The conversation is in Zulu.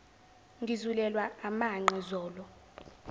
ngizulelwa amanqe zolo